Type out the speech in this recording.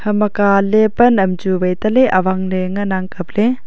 ama kaaley pan am chu vai taaley awangley ngan ang kapley.